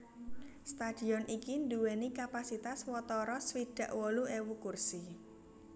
Stadion iki nduwèni kapasitas watara swidak wolu ewu kursi